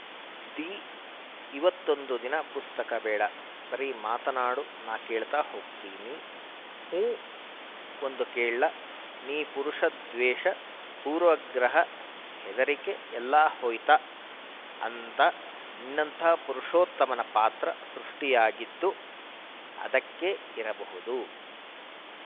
the ಇವತ್ತೊಂದು ದಿನ ಪುಸ್ತಕ ಬೇಡ ಬರೀ ಮಾತನಾಡು ನಾನು ಕೇಳ್ತಾ ಹೋಗ್ತೀನಿ ಹೂಂ ಒಂದು ಕೇಳ್ಲಾ ನೀ ಪುರುಷ ದ್ವೇಷ ಪೂರ್ವಾಗ್ರಹ ಹೆದರಿಕೆ ಎಲ್ಲಾ ಹೋಯ್ತಾ ಅಂದ ನಿನ್ನಂಥ ಪುರುಷೋತ್ತಮನ ಪಾತ್ರ ಸೃಷ್ಟಿಯಾಗಿದ್ದು ಅದಕ್ಕೇ ಇರಬಹುದು